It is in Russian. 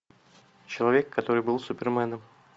человек который был суперменом